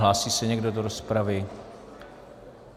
Hlásí se někdo do rozpravy?